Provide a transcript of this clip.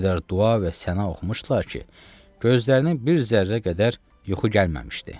O qədər dua və səna oxumuşdular ki, gözlərini bir zərrə qədər yuxu gəlməmişdi.